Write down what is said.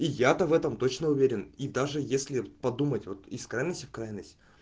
и я-то в этом точно уверен и даже если подумать вот из крайности в крайность